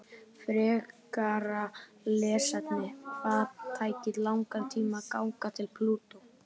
Frekara lesefni: Hvað tæki langan tíma að ganga til Plútó?